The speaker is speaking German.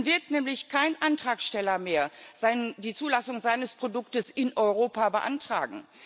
Dann wird nämlich kein Antragsteller mehr die Zulassung seines Produkts in Europa beantragen.